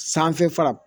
Sanfɛ fara